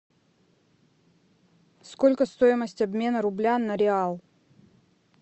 сколько стоимость обмена рубля на реал